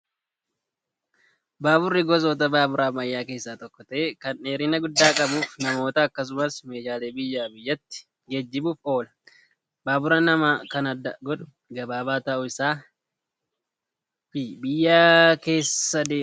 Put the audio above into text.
Baaburri gosoota baaburaa ammayyaa keessaa tokko ta'ee kan dheerina guddaa qabuu fi namoota akkasumas meeshaalee biyyaa biyyatti geejjibuuf oola. Baabura namaa kan adda godhu gabaabaa ta'uu isaa fi biyya keessa deema.